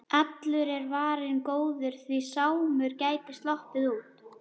Allur er varinn góður, því Sámur gæti sloppið út.